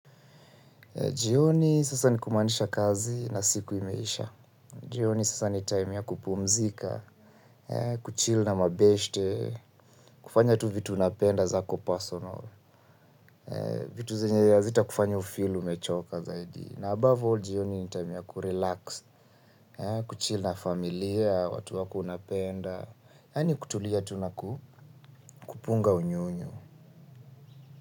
Jioni sasa nikumaanisha kazi na siku imeisha. Jioni sasa ni time ya kupumzika, kuchill na mabeshte, kufanya tu vitu unapenda zako personal, vitu zenye hazitakufanya ufeel umechoka zaidi. Na above all jioni ni time ya kurelax, kuchill na familia, watu wako unapenda, yaani kutulia tu nakupunga unyonyo.